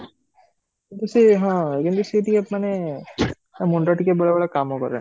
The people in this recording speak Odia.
କିଛି ହଁ initiative ମାନେ ତା ମୁଣ୍ଡ ବେଳେ ବେଳେ କାମ କରେନି